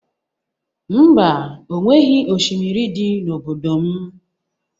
Mba, o nweghị oshimiri dị n'obodo m